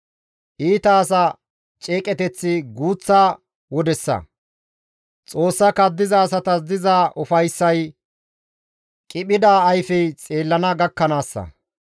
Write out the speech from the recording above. Iita asa ceeqeteththi guuththa wodessa; Xoossa kaddiza asatas diza ufayssay qiphida ayfey xeellana gakkanaassa.